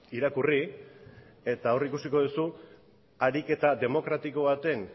irakurri eta hor ikusiko duzu harik eta demokratiko baten